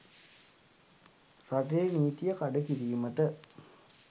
රටේ නීතිය කඩ කිරීමට